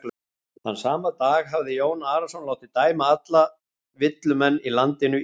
Þann sama dag hafði Jón Arason látið dæma alla villumenn á landinu í bann.